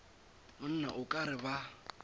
monna o ka re ba